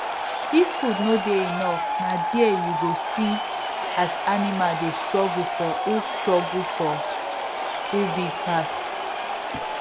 if food no dey enough na there you go see as animals dey struggle for who struggle for who big pass